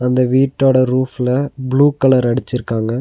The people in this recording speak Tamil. இந்த வீட்டோட ரூஃப்ல ப்ளூ கலர் அடிச்சிருக்காங்க.